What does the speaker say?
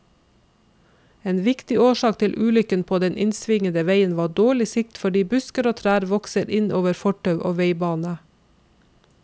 En viktig årsak til ulykken på den svingete veien var dårlig sikt fordi busker og trær vokser inn over fortau og veibane.